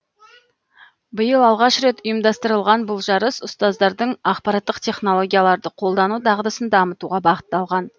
биыл алғаш рет ұйымдастырылған бұл жарыс ұстаздардың ақпараттық технологияларды қолдану дағдысын дамытуға бағытталған